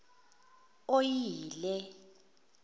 oyile